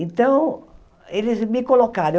Então, eles me colocaram.